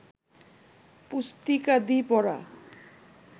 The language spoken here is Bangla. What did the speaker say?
পুস্তিকাদি পড়া